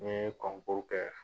N ye kɔnkuri kɛ